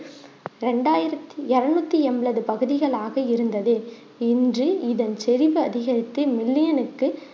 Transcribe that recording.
ரெண்டாயிர்த்தி இறுநூத்தி என்பது பகுதிகளாக இருந்தது இன்று இதன் செரிவு அதிகரித்து million னுக்கு